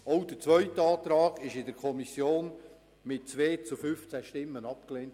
Auch der zweite Antrag wurde in der Kommission mit 15 zu 2 Stimmen abgelehnt.